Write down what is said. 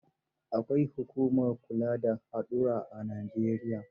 Akwai hukumar kula da haɗura a Najeriya.